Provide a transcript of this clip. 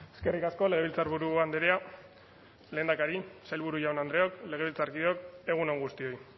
eskerrik asko legebiltzarburu andrea lehendakari sailburu jaun andreok legebiltzarkideok egun on guztioi